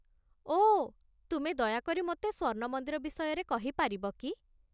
ଓଃ, ତୁମେ ଦୟାକରି ମୋତେ ସ୍ୱର୍ଣ୍ଣ ମନ୍ଦିର ବିଷୟରେ କହିପାରିବ କି?